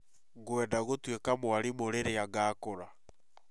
Ngwenda gũtuĩka mwarimũ rĩrĩa ngakũra